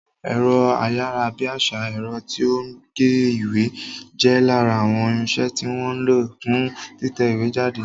Ẹ̀rọ ayárabíàṣá, ẹ̀rọ tí ó ń gé ìwé, jẹ́ lára àwọn irinsẹ́ tí wọ́n ń lo fún títẹ ìwé jáde